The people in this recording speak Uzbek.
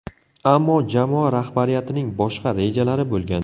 Ammo jamoa rahbariyatining boshqa rejalari bo‘lgan.